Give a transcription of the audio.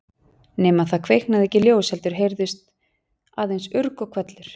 Nema það kviknaði ekki ljós heldur heyrðist aðeins urg og hvellur.